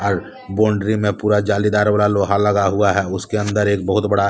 अर boundary में पूरा जालीदार वाला लोहा लगा हुआ है उसके अंदर एक बहुत बड़ा--